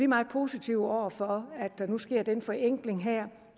meget positive over for at der nu sker den forenkling her